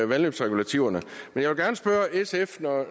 vandløbsregulativerne